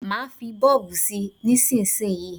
Má fí bọ́ọ̀bù sí nísísíyí.